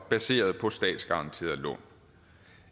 baseret på statsgaranterede lån